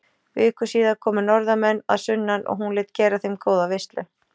Viku síðar komu norðanmenn að sunnan og hún lét gera þeim góða veislu.